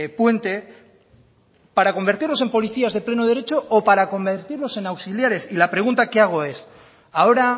puente para convertirlos en policías de pleno derecho o para convertirlos en auxiliares y la pregunta que hago es ahora